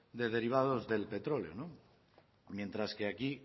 de derivados del petróleo mientras que aquí